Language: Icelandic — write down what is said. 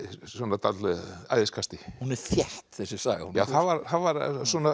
dálitlu æðiskasti hún er þétt þessi saga það var